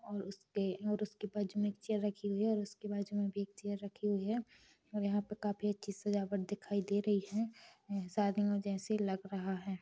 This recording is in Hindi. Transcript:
और उसके और उसके बाजू में एक चेयर रखी हुई है और उसके बाजू में भी एक चेयर रखी हुई है और यहाँ पे काफी अच्छी सजावट दिखाई दे रही है शादियों जैसे लग रहा है।